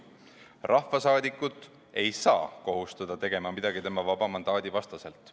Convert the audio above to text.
Rahvasaadikut ei saa kohustada tegema midagi tema vaba mandaadi vastaselt.